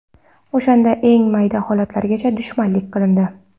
O‘shanda eng mayda holatlargacha dushmanlik qilindi.